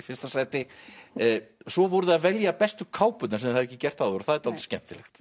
fyrsta sæti svo voruð þið að velja bestu kápurnar sem þið hafði ekki gert áður og það er dálítið skemmtilegt